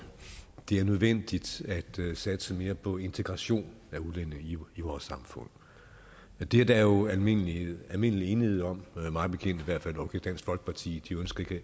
det er nødvendigt at satse mere på integration af udlændinge i vores samfund det er der jo almindelig almindelig enighed om i mig bekendt okay dansk folkeparti ønsker